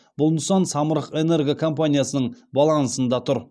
бұл нысан самұрық энерго компаниясының балансында тұр